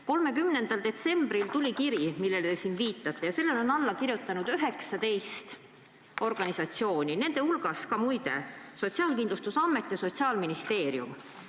30. detsembril tuli kiri, millele te siin viitate, ja sellele on alla kirjutanud 19 organisatsiooni, nende hulgas ka muide Sotsiaalkindlustusamet ja Sotsiaalministeerium.